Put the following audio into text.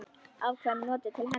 Afkvæmi notuð til hefnda.